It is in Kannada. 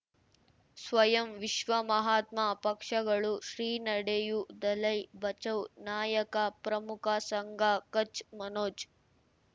ಸ್ವಯಂ ವಿಶ್ವ ಮಹಾತ್ಮ ಪಕ್ಷಗಳು ಶ್ರೀ ನಡೆಯೂ ದಲೈ ಬಚೌ ನಾಯಕ ಪ್ರಮುಖ ಸಂಘ ಕಚ್ ಮನೋಜ್